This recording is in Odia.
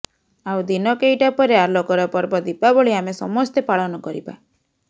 ଆଉ ଦିନ କେଇଟା ପରେ ଆଲୋକର ପର୍ବ ଦୀପାବଳି ଆମେ ସମସ୍ତେ ପାଳନ କରିବା